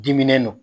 Diminen don